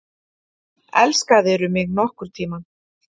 Elskaðirðu mig nokkurn tíma?